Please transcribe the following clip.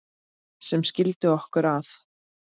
sem skildi okkur að